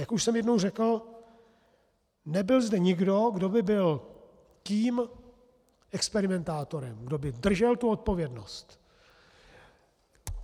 Jak už jsem jednou řekl, nebyl zde nikdo, kdo by byl tím experimentátorem, kdo by držel tu odpovědnost.